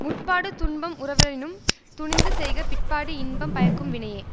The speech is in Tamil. முற்பாடு துன்பம் உறவரினும் துணிந்து செய்க பிற்பாடு இன்பம் பயக்கும் வினையே